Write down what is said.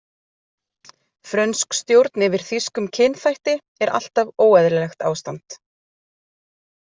„Frönsk stjórn yfir þýskum kynþætti er alltaf óeðlilegt ástand“.